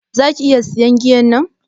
Zaka iƴa siyan giyan nan?